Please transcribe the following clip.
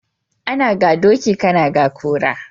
Ana ga doki kana ga kura